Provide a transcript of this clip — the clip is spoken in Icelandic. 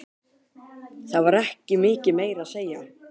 Það var ekki mikið meira að segja.